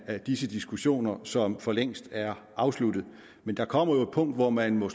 af disse diskussioner som for længst er afsluttet men der kommer jo et punkt hvor man må